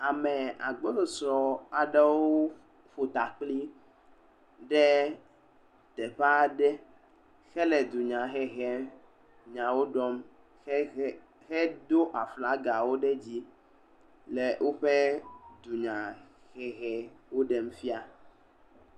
Ame agbɔsɔsɔ aɖewo ƒo takpli ɖe teƒe aɖe hele dunyahehem nyawo ɖɔm hehe, hedo aflagawo ɖe dzi le woƒe dunyahehewo ɖem fia.